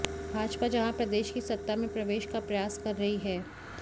भाजपा जहां प्रदेश की सत्ता में प्रवेश का प्रयास कर रही है